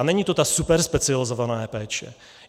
A není to ta superspecializovaná péče.